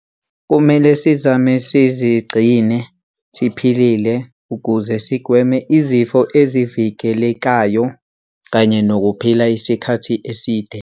Kumele sizame sizigcine siphilile ukuze sigweme izifo ezivikelekayo kanye nokuphila isikhathi eside.